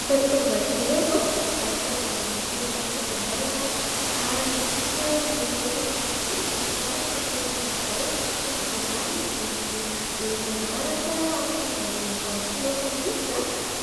Nitady fitaovan-dakozia ve ianao ? Mivarotra an'izay rehetra ilainao izahay ary indrindra ireo teknolojia izay mifanaraka amin' ny toetrandro amin'izao, toy ny : vilany mandeha amin'ny herinaratra afaka andrahoanao vary sy loaka mihitsy,